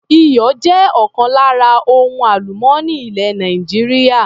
Iyọ̀ jẹ́ ọ̀kan lára ohun àlùmọ́nì ilẹ̀ Nàìjíríà.